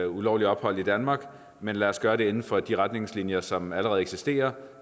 ulovlige ophold i danmark men lad os gøre det inden for de retningslinjer som allerede eksisterer